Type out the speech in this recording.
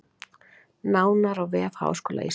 Nánar á vef Háskóla Íslands